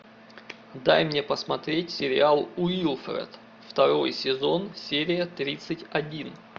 дай мне посмотреть сериал уилфред второй сезон серия тридцать один